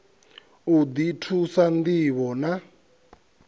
u ḓi thusa ṋdivho na